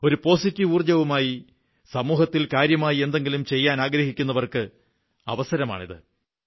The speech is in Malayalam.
ഒരു പോസിറ്റീവ് ഊർജ്ജവുമായി സമൂഹത്തിൽ കാര്യമായി എന്തെങ്കിലും ചെയ്യാനാഗ്രഹിക്കുന്നവർക്കുള്ള അവസരമാണിത്